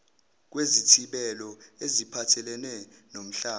kwezithibelo eziphathelene nomhlaba